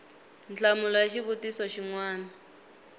nhlamulo ya xivutiso xin wana